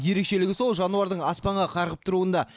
ерекшелігі сол жануардың аспанға қарғып тұруында